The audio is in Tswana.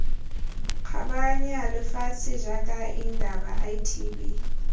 kgabaganya lefatshe jaaka indaba itb